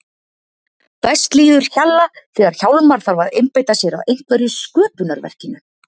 Best líður Hjalla þegar Hjálmar þarf að einbeita sér að einhverju sköpunarverkinu.